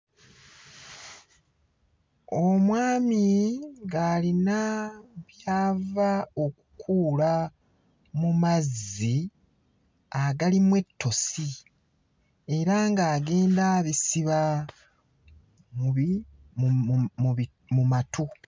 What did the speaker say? Omwami ng'alina ky'ava okukuula mu mazzi agalimu ettosi era ng'agenda abisiba mu bi... mu mu bi... mu matu.